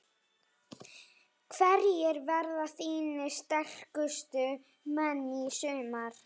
Hverjir verða þínir sterkustu menn í sumar?